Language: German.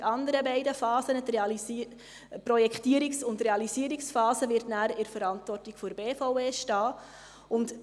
Die anderen beiden Phasen, die Projektierungs- und Realisierungsphase, werden dann in der Verantwortung der BVE liegen.